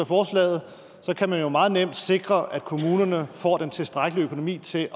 forslaget så meget nemt kan sikre at kommunerne får den tilstrækkelige økonomi til